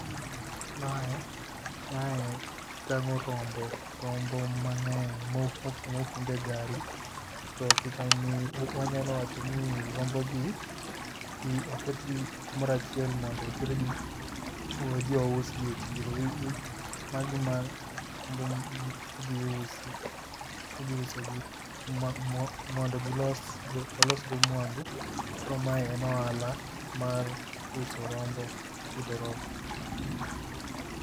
Mae ,mae tango rombo, rombo mang'eny mofund e gari to pichani wanyalo wachoni rombogi oketgi kumoro achiel mondo otergi odhi ousgi e chiro. Magi rombo midhi usi, idhi usogi mondo gilos go, olos go mwandu. Koro mae en ohala mar uso rombo, pidho rombo